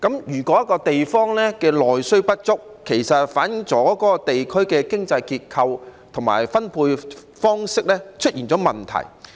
如果一個地方內需不足，便反映出其經濟結構和分配方式出現問題。